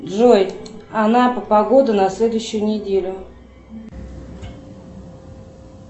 джой анапа погода на следующую неделю